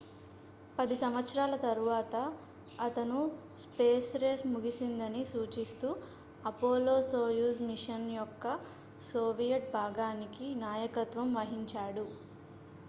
పది సంవత్సరాల తరువాత అతను స్పేస్ రేస్ ముగిసిందని సూచిస్తూ అపోలో-సోయుజ్ మిషన్ యొక్క సోవియట్ భాగానికి నాయకత్వం వహించాడు